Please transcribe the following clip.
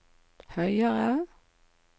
høyere